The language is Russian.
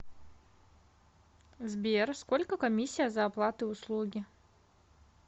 сбер сколько комиссия за оплаты услуги